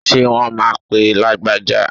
Ṣé wón máa pe Lágbájá?